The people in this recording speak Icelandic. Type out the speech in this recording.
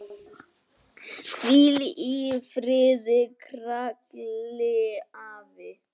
Hvíl í friði, Krilli afi.